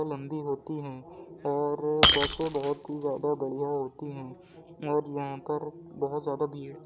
लंबी होती हैं और बसें बहुत ही ज़्यादा बढ़िया होती है और यहाँ पर बहुत ज़्यादा बीस --